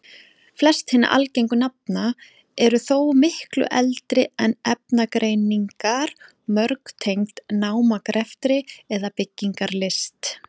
Flest hinna algengu nafna eru þó miklu eldri en efnagreiningar, mörg tengd námagreftri eða byggingarlist.